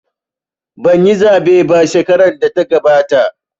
Banyi zaɓe ba shekarar da ta gabata